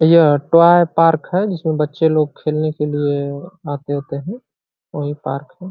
यह toy park है। जिसमें बच्चे लोग खेलने के लिए आते वाते हैं और यह पार्क है।